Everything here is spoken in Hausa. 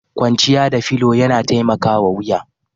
Kwanciya da filo yana taimakawa wuya.